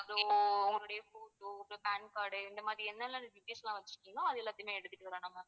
so உன்னுடைய photo அப்பறம் pan card இந்த மாதிரி என்னென்ன details லாம் வச்சிருக்கீங்களோ அது எல்லாதையுமே எடுத்துட்டு வாங்க ma'am